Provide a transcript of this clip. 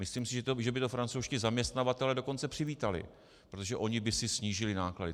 Myslím si, že by to francouzští zaměstnavatelé dokonce přivítali, protože oni by si snížili náklady.